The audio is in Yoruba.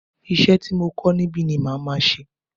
Isẹ́ ti mo kọ́ níbi ni màá máa ṣe